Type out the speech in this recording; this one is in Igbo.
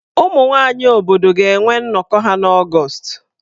Ụmụ nwaanyị obodo ga-enwe nnọkọ ha n'Ọgọọst.